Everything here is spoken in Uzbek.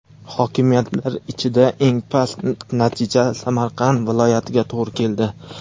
Hokimiyatlar ichida eng past natija Samarqand viloyatiga to‘g‘ri keldi.